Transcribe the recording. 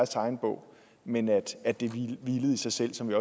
tegnebog men at det hvilede i sig selv sådan